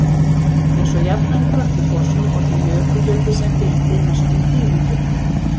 eins og jafnan í kötlugosum olli jökulhlaupið sem fylgdi mestum tíðindum